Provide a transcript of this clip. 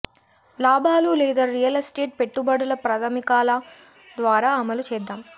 లాభాలు లేదా real estate పెట్టుబడుల ప్రాథమికాల ద్వారా అమలు చేద్దాం